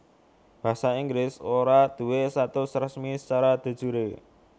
Basa Inggris ora duwé status resmi sacara de jure